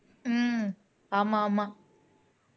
உம் ஆமா ஆமா